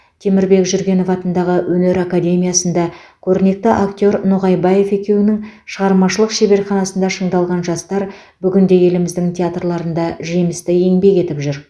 темірбек жүргенов атындағы өнер академиясында көрнекті актер ноғайбаев екеуінің шығармашылық шеберханасында шыңдалған жастар бүгінде еліміздің театрларында жемісті еңбек етіп жүр